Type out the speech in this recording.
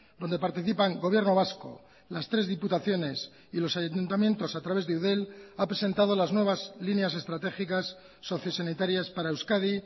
donde participan gobierno vasco las tres diputaciones y los ayuntamientos a través de eudel ha presentado las nuevas líneas estratégicas sociosanitarias para euskadi